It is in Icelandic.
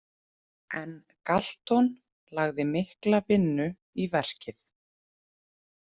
En Galton lagði mikla vinnu í verkið.